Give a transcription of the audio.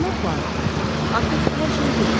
Cənab Poirot, artıq hər şeyi bilirsiz.